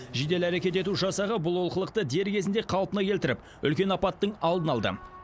жедел әрекет ету жасағы бұл олқылықты дер кезінде қалпына келтіріп үлкен апаттың алдын алды